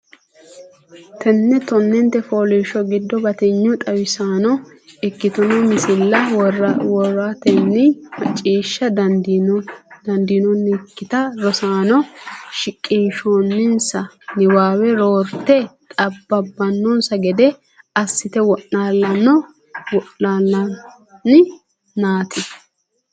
Tenne tonnente fooliishsho giddo batinye xawisaano ikkitino misilla woratenni macciishsha dandiitannokki rosaano shiqqinonsa niwaawe roorte xab bannonsa gede assate wo’naallonni, neeti?